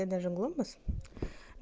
и даже глобус